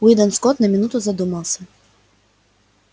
уидон скотт на минуту задумался